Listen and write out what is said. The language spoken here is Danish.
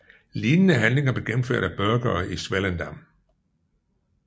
Lignende handlinger blev gennemført af burghere i Swellendam